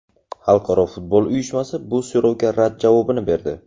Xalqaro futbol uyushmasi bu so‘rovga rad javobini berdi.